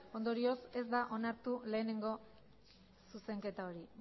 ondorioz ez da onartu lehenengo zuzenketa hori